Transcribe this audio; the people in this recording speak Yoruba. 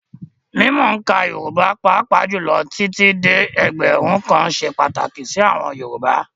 Mímc òǹkà Yorùbá, pàápàá jùlọ títí dé ẹgbẹ̀rún kan ṣe pàtàkì sí àwọn Yorùbá